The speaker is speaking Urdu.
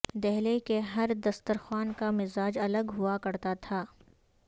دہلی کے ہر دسترخوان کا مزاج الگ ہوا کرتا تھا